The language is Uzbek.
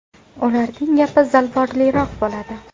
Ularning gapi zalvorliroq bo‘ladi.